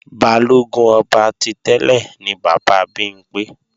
Balógun ọba ti tẹ́lẹ̀ ni bàbá Bimpé